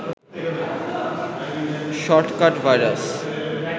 shortcut virus